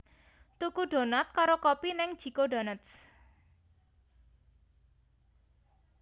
Tuku donat karo kopi ning J Co Donuts